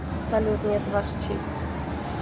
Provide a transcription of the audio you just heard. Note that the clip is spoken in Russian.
салют нет ваша честь